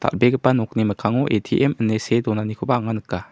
dal·begipa nokni mikkango A_T_M ine see donanikoba anga nika.